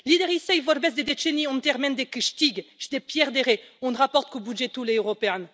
Liderii săi vorbesc de decenii în termeni de câștig și de pierdere în raport cu bugetul european.